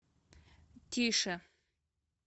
тише